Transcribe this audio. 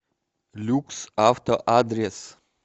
люкс авто адрес